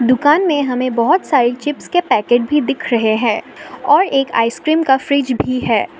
दुकान में हमें बहोत सारी चिप्स के पैकेट भी दिख रहे हैं और एक आइसक्रीम का फ्रिज भी है।